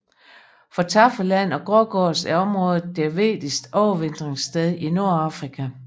For taffeland og grågås er området deres vigtigste overvintringssted i Nordafrika